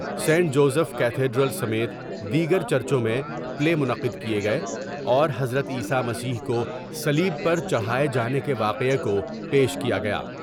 Saint Joseph cathedral سمیت دیگر چرچوں میں پلے منعقد کئے گئے اور حضرت عیسی مسیح کو صلیب پر چڑھاۓ جانے کے واقعہ کو پیش کیا گیا ۔